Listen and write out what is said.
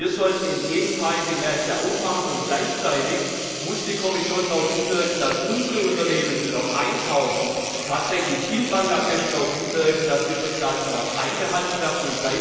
Wir sollten im Gegenteil die Märkte aufmachen. Gleichzeitig muss die Kommission darauf hinwirken, dass unsere Unternehmen, die dort einkaufen, tatsächlich in Bangladesch darauf hinwirken, dass die Sozialstandards eingehalten werden.